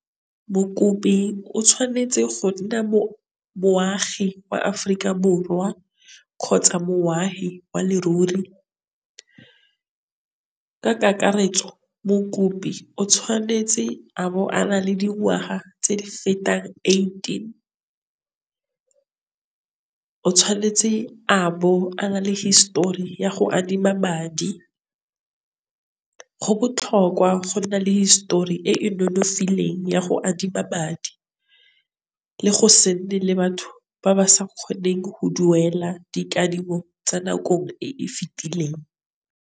Mokopi o tshwanetse go nna moagi wa Aforika Borwa kgotsa mongwahi wa leruri. Ka kakaretso mokopi o tshwanetse abo a na le dingwaga tse di fetang eighteen, o tshwanetse abo a na le hisetori ya go adima madi. Go botlhokwa go nna le hisetori e e nonofileng ya go adima madi le go batho ba ba sa kgoneng go duela dikadimo tsa nakong e e fetileng.